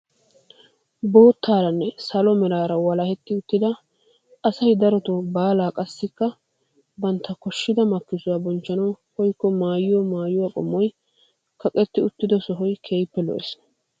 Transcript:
Boottaranne salo meraara walahetti uttida asay darotoo baalaa qassi bantta koshida makkisuwaa bonchchanawu koyikko maayiyoo maayuwaa qommoy kaqetti uttida sohoy keehippe lo"ees.